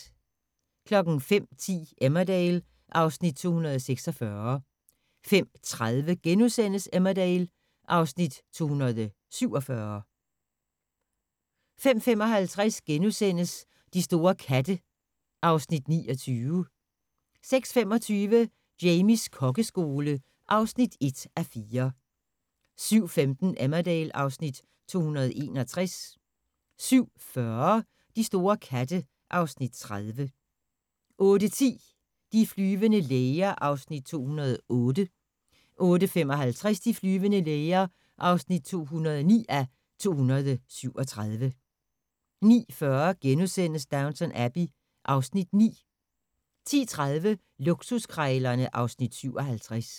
05:10: Emmerdale (Afs. 246) 05:30: Emmerdale (Afs. 247)* 05:55: De store katte (Afs. 29)* 06:25: Jamies kokkeskole (1:4) 07:15: Emmerdale (Afs. 261) 07:40: De store katte (Afs. 30) 08:10: De flyvende læger (208:237) 08:55: De flyvende læger (209:237) 09:40: Downton Abbey (Afs. 9)* 10:30: Luksuskrejlerne (Afs. 57)